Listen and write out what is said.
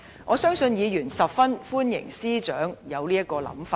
我相信議員十分歡迎司長有這種想法。